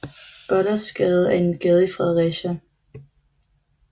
Gothersgade er en gade i Fredericia